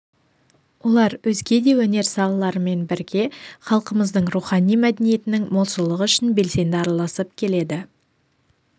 олар өзге де өнер салаларымен бірге халқымыздың рухани мәдениетінің молшылығы үшін белсенді араласып келеді